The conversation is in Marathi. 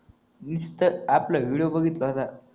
इंस्टात आपला विडिओ बघितला होता